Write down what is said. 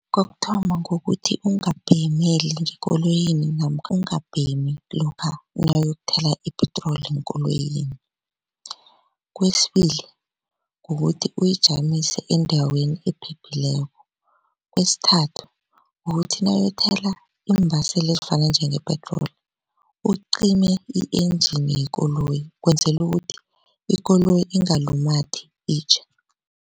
Kokuthoma ngokuthi ungabhemeli ngekoloyini namkha ungabhemi lokha nawuyokuthenga ipetroli enkoloyini. Kwesibili kukuthi uyijamise endaweni ephephileko, kwesithathu kukuthi nawuyokuthela iimbaseli ezifana njengepetroli ucime i-engine yekoloyi kwenzela ukuthi ikoloyi ingalumathi itjhe.